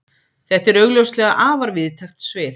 Þetta er augljóslega afar víðtækt svið.